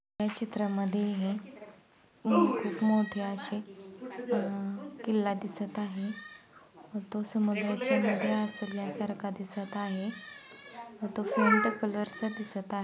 ह्या चित्रामध्ये हे हू खूप मोठे आशे अ किल्ला दिसत आहे. वतो समोर ज्याच्या मध्ये असेल या सारखा दिसत आहे. व तो फेंट कलर चा दिसत आहे.